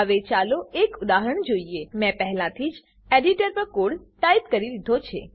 હવે ચાલો એક ઉદાહરણ જોઈએ મેં પહેલાથી જ એડીટર પર કોડ ટાઈપ કરી દીધો છે